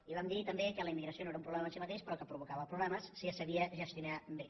i vam dir també que la immigració no era un problema en si mateix però que provocava problemes si no se sabia gestionar bé